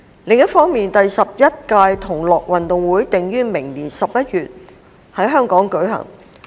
另一方面，第十一屆同樂運動會定於明年11月在香港舉行。